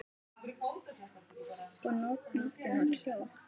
Og nóttin var hljóð.